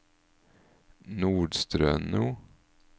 Nordstrøno